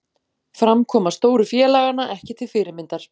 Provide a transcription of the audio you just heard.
Framkoma stóru félaganna ekki til fyrirmyndar